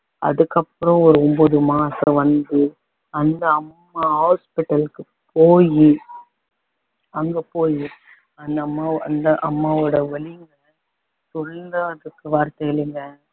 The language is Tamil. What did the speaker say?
அதுக்கப்புறம் ஒரு ஒன்பது மாசம் வந்து அந்த அம்மா hospital க்கு போயி அங்க போயி அந்த அம்மா அந்த அம்மாவோட வலி சொல்லறதுக்கு வார்த்தை இல்லைங்க